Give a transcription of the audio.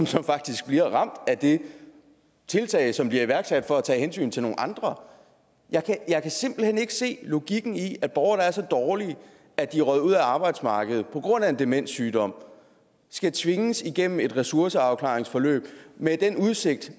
som faktisk bliver ramt af det tiltag som bliver iværksat for at tage hensyn til nogle andre jeg kan simpelt hen ikke se logikken i at borgere der er så dårlige at de er røget ud af arbejdsmarkedet på grund af en demenssygdom skal tvinges igennem et ressourceafklaringsforløb med den udsigt